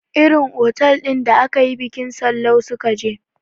Irin otal ɗin akayi bikin Sallau su ka je